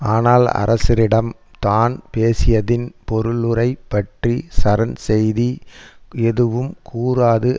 ஆனால் அரசரிடம் தான் பேசியதின் பொருளுரை பற்றி சரண் செய்தி எதுவும் கூறாது